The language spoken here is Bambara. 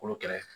Kolo kɛlɛ